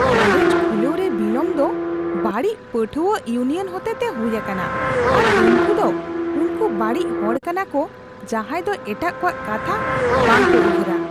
College ᱠᱷᱩᱞᱟᱹᱣ ᱨᱮ ᱵᱤᱞᱚᱢ ᱫᱚ ᱵᱟᱹᱲᱤᱡ ᱯᱟᱹᱴᱷᱩᱣᱟᱹ ᱤᱭᱩᱱᱤᱭᱚᱱ ᱦᱚᱛᱮᱛᱮ ᱦᱩᱭ ᱟᱠᱟᱱᱟ ᱟᱨ ᱩᱱᱠᱩ ᱫᱚ ᱩᱱᱠᱩ ᱵᱟᱹᱲᱤᱡ ᱦᱚᱲ ᱠᱟᱱᱟᱠᱩ ᱡᱟᱦᱟᱸᱭ ᱫᱚ ᱮᱴᱟᱜ ᱠᱚᱣᱟᱜ ᱠᱟᱛᱷᱟ ᱵᱟᱝ ᱠᱚ ᱩᱭᱦᱟᱹᱨᱟ ᱾